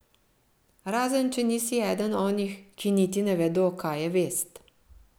Razen če nisi eden onih, ki niti ne vedo, kaj je vest.